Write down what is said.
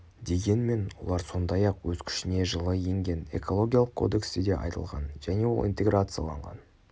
дегенмен олар сондай-ақ өз күшіне жылы енген экологиялық кодексте де айтылған және ол интеграцияланған